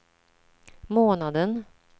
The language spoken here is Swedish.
månaden